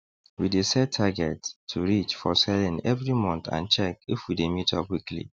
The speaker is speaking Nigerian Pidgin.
we dey set targets to reach for selling every month and check if we dey meet up weekly